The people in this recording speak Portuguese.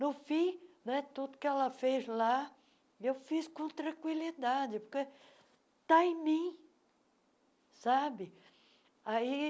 No fim né, tudo o que ela fez lá, eu fiz com tranquilidade, porque está em mim, sabe? aí